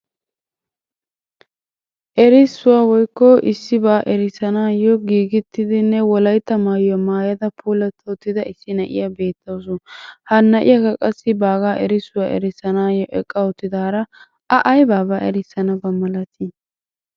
Erissuwa woykko issibaa erissanaayyo giigettidinne wolaytta maayuwa maayada puulatta uttida issi na'iya beettawusu. Ha na'iyakka qassi baagaa erissuwa erissanaayyo eqqa uttidaara A aybaabaa erissanaba malatii?